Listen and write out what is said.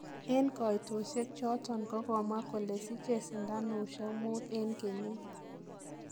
En koitosie choton kogomwa kole sichee sinanusiek muut en keyiit.